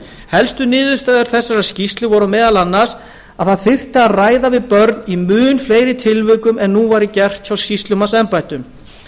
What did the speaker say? helstu niðurstöður þessarar skýrslu voru meðal annars að ræða þyrfti við börn í mun fleiri tilvikum en nú væri gert hjá sýslumannsembættum